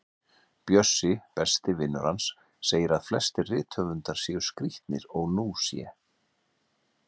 Bjössi, besti vinur hans, segir að flestir rithöfundar séu skrítnir og nú sé